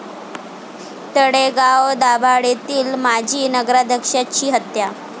तळेगाव दाभाडेतील माजी नगराध्यक्षाची हत्या